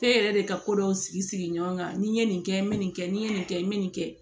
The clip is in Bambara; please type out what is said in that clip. K'e yɛrɛ de ka ko dɔw sigi sigi ɲɔgɔn kan ni n ye nin kɛ n be nin kɛ ni n ye nin kɛ n be nin kɛ